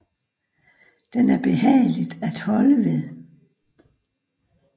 Den er behagelig at holde ved